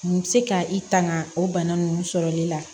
N bɛ se ka i tanga o bana ninnu sɔrɔli la